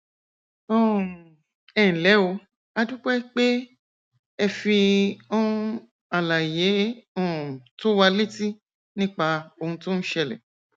um ẹnlẹ o a dúpẹ pé ẹ fi um àlàyé um tó wa létí nípa ohun tó ń ṣẹlẹ